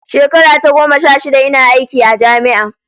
Shekara ta goma sha shida ina aiki a jami'a